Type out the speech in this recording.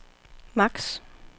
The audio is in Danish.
maks